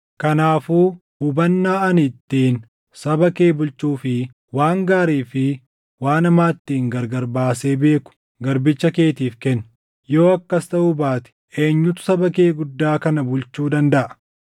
Kanaafuu hubannaa ani ittiin saba kee bulchuu fi waan gaarii fi waan hamaa ittiin gargar baasee beeku garbicha keetiif kenni. Yoo akkas taʼuu baate eenyutu saba kee guddaa kana bulchuu dandaʼa?”